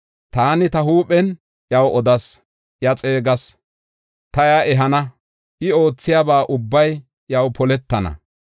Taani, ta huuphen iyaw odas; iya xeegas; ta iya ehana; I oothiyaba ubbay iyaw poletana.